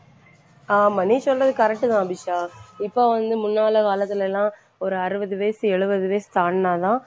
ஆமாம் நீ சொல்றது correct தான் அபிஷா. இப்ப வந்து முன்னால காலத்துலயெல்லாம் ஒரு அறுபது வயசு எழுபது வயசு தாண்டுனாதான்